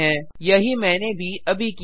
000826 000825 यही मैंने भी अभी किया